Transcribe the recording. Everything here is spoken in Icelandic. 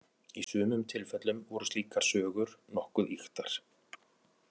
Í sumum tilfellum voru slíkar sögur nokkuð ýktar.